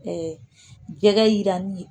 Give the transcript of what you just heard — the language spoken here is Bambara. jɛgɛ yiranni ye